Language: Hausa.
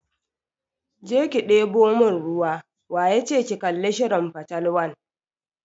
Je ki deɓo mun ruwa!waya ce ki kalli shirin fatalwan.